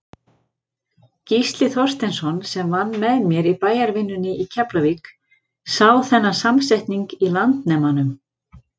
Gísli Þorsteinsson, sem vann með mér í bæjarvinnunni í Keflavík, sá þennan samsetning í Landnemanum.